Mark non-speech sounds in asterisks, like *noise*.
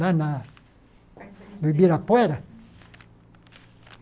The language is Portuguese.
Lá na *unintelligible* no Ibirapuera?